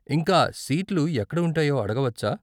ఇంకా, సీట్లు ఎక్కడ ఉంటాయో అడగవచ్చా?